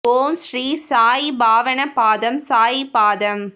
ஓம் ஸ்ரீ சாயி பாவன பாதம் சாயி பாதம்